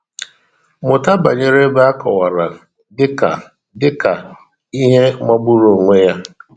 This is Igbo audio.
Mụta banyere ebe a kọwara dị ka dị ka "ihe magburu onwe ya.